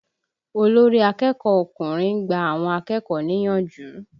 Olórí akẹ́kọ̀ọ́ ọkùnrin ń gba àwọn akẹ́kọ̀ọ́ níyànjú.